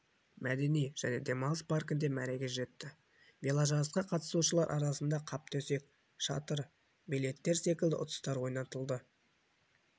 мәдени және демалыс паркінде мәреге жетті веложарысқа қатысушылар арасында қаптөсек шатыр билеттер секілді ұтыстар ойнатылды